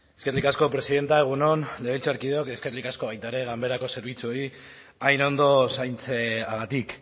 eskerrik asko presidenta egun on legebiltzarkideok eskerrik asko baita ere ganberako zerbitzuei hain ondo zaintzeagatik